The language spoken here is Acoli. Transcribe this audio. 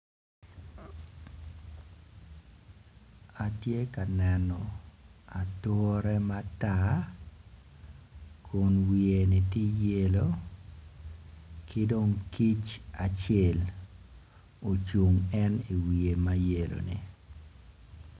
Atye ka neno ature matar kun wiye-ni ti yelo ki dong kic acel ocung en i wiye mayelo-ni